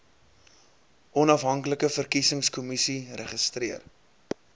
onafhanklike verkiesingskommissie registreer